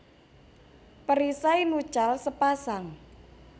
Perisai nuchal sepasang